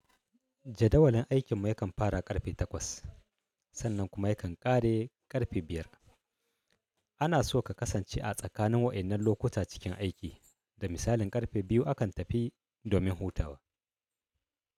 Jadawalin aikinmu yakan fara ƙarfe 8:00 sannan kuma yakan ƙare ƙarfe 5:00. Ana so ka kasance a tsakanin wa'innan lokuta cikin aiki, da misalin ƙarfe 2:00 akan tafi domin hutawa.